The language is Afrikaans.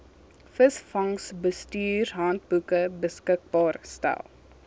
visvangsbestuurshandboeke beskikbaar stel